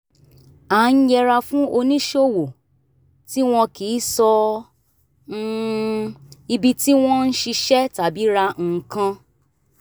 a ń yẹra fún oníṣòwò tí wọn kì í sọ um ibi tí wọ́n ń ṣiṣẹ́ tàbí ra nǹkan